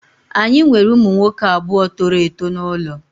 Anyị nwere ụmụ nwoke abụọ toro eto n'ụlọ